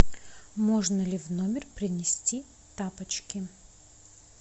можно ли в номер принести тапочки